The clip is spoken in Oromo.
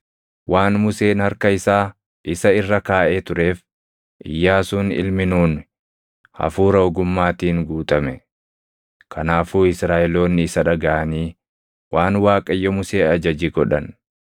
Waan Museen harka isaa isa irra kaaʼee tureef Iyyaasuun ilmi Nuuni hafuura ogummaatiin guutame. Kanaafuu Israaʼeloonni isa dhagaʼanii waan Waaqayyo Musee ajaje godhan.